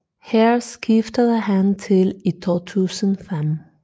Her skiftede han til i 2005